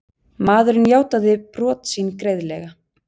Maðurinn játaði brot sín greiðlega